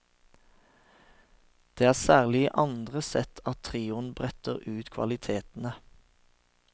Det er særlig i andre sett at trioen bretter ut kvalitetene.